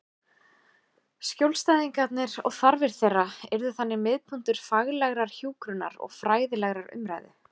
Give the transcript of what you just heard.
Skjólstæðingarnir og þarfir þeirra yrðu þannig miðpunktur faglegrar hjúkrunar og fræðilegrar umræðu.